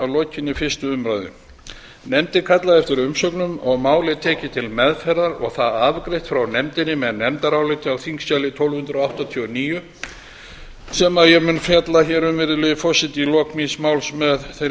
lokinni fyrstu umræðu nefndin kallaði eftir umsögnum og var málið tekið til meðferðar og það afgreitt frá nefndinni með nefndaráliti á þingskjali tólf hundruð áttatíu og níu sem ég mun fjalla hér um virðulegi forseti í lok míns máls með þeirri